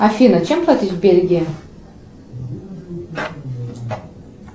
афина чем платить в бельгии